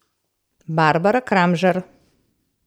Barbara Kramžar.